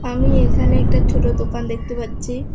আমি এইখানে একটা ছোট দোকান দেখতে পাচ্ছি।